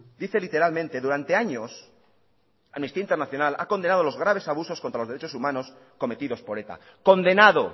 dice literalmente durante años amnistía internacional ha condenado los graves abusos contra los derechos humanos cometidos por eta condenado